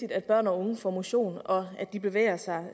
at børn og unge får motion og at de bevæger sig